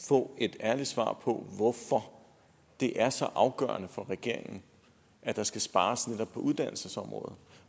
få et ærligt svar på hvorfor det er så afgørende for regeringen at der skal spares netop på uddannelsesområdet